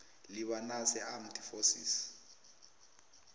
lebanese armed forces